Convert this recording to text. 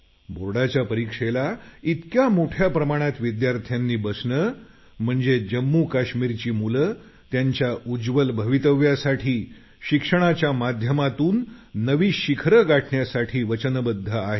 बोर्डाच्या परीक्षेला इतक्या मोठ्या प्रमाणात विद्यार्थ्यांनी बसणं म्हणजे जम्मू काश्मीरची मुलं त्यांच्या उज्वल भवितव्यासाठी शिक्षणाच्या माध्यमातून नवी शिखरं गाठण्यासाठी वचनबद्ध आहेत